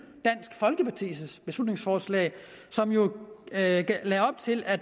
dansk folkepartis beslutningsforslag som jo lagde op til at